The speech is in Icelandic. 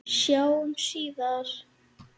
Sjáumst síðar!